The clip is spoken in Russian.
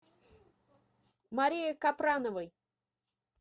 марии капрановой